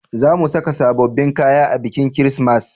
Za mu saka sabobbin kaya a bikin kirismas